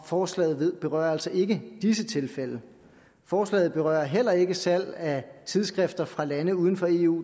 forslaget berører altså ikke disse tilfælde forslaget berører heller ikke salg af tidsskrifter fra lande uden for eu og